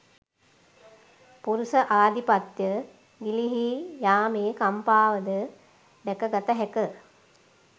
පුරුෂ ආධිපත්‍ය ගිලිහී යාමේ කම්පාවද දැක ගත හැක